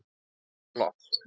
Vá, en flott.